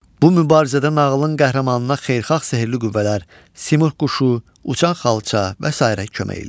Bu mübarizədə nağılın qəhrəmanına xeyirxah sehirli qüvvələr, Simurq quşu, uçan xalça və sairə kömək eləyir.